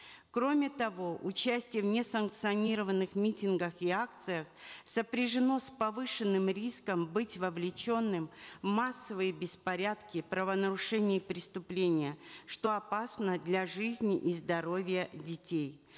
кроме того участие в несанкционированных митингах и акциях сопряжено с повышенным риском быть вовлеченным в массовые беспорядки правонарушения и преступления что опасно для жизни и здоровья детей